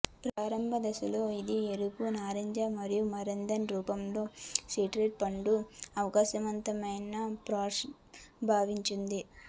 ప్రారంభ దశలో అది ఎరుపు నారింజ మరియు మాండరిన్ రూపంలో సిట్రస్ పండ్లు ప్రకాశవంతమైన ఫ్లాష్ భావించాడు ఉంది